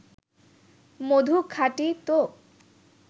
মধু খাঁটি তো